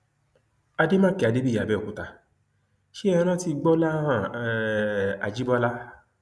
àdèmàkè adébíyí àbẹòkúta ṣe é rántí gbọláhàn um ajibọlá